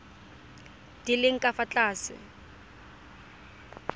di leng ka fa tlase